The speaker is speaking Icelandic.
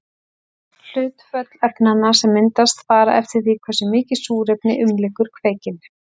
Hlutföll efnanna sem myndast fara eftir því hversu mikið súrefni umlykur kveikinn.